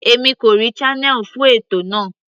Èmi kò rí channel fún ètò náà.